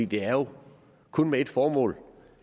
det har jo kun ét formål og